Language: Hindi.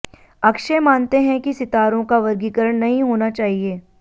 अक्षय मानते हैं कि सितारों का वर्गीकरण नहीं होना चाहिए